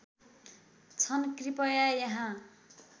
छन् कृपया यहाँ